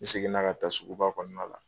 N segin na ka taa suguba kɔnɔna la.